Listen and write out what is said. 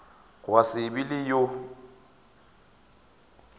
gwa se be le yo